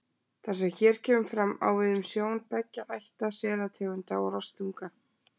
Það sem hér kemur fram, á við um sjón beggja ætta selategunda og rostunga.